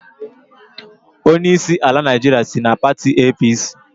Onyeisi ala Naịjirịa si na pati APC